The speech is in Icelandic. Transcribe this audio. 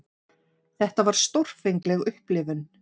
Þetta var stórfengleg upplifun.